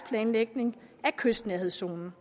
planlægning af kystnærhedszonen